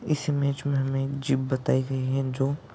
इस इमेज मे हमे जीप बताई गई है जो--